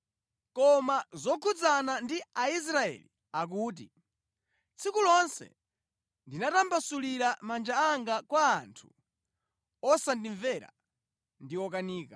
Koma zokhudzana ndi Aisraeli akuti, “Tsiku lonse ndinatambasulira manja anga kwa anthu osandimvera ndi okanika.”